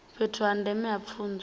fhethu ha ndeme ha pfunzo